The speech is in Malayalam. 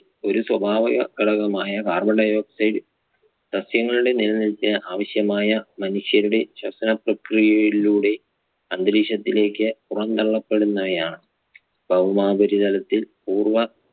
ഒരു സ്വഭാവ ഘടകമായ carbon dioxide സസ്യങ്ങളുടെ നിലനിൽപ്പിന് ആവശ്യമായ മനുഷ്യരുടെ ശ്വസന പ്രക്രിയയിലൂടെ അന്തരീക്ഷത്തിലേക്ക് പുറന്തള്ളപ്പെടുന്നവയാണ്. ഭൗമോപരിതലത്തിൽ പൂർവ്വ